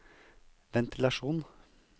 ventilasjon